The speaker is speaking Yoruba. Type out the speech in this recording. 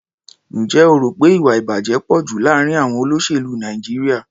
Ǹjẹ́ o rò pé ìwà-ìbàjẹ́ pọ̀ jù láàárín àọn olóṣèlú Nàìjíríà?